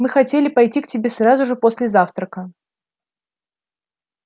мы хотели пойти к тебе сразу же после завтрака